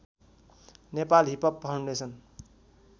Nepal hip hop foundation